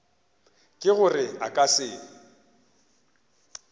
ke gore a ka se